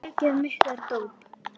Það hæfir vorinu.